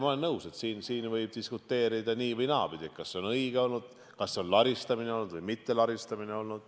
Ma olen nõus, et siin võib diskuteerida nii- või naapidi, kas see on õige olnud, kas see on olnud laristamine või mitte.